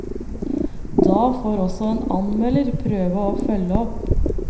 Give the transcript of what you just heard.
Da får også en anmelder prøve å følge opp.